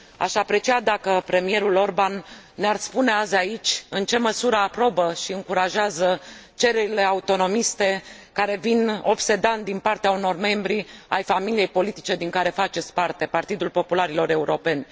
Aș aprecia dacă premierul Orbán ne ar spune azi aici în ce măsură aprobă și încurajează cererile autonomiste care vin obsedant din partea unor membri ai familiei politice din care faceți parte, Partidul Popularilor Europeni.